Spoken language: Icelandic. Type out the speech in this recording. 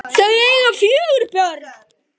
Þau eiga fjögur börn